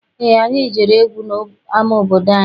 Eé, anyị jere egwu n'ama obodo anyị.